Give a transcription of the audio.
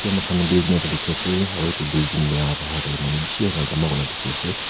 itu moi khan building ekta dikhi ase aru itu building la buhar tey manu bishi ahi na jama kurna dikhi ase.